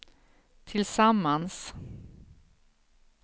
tillsammans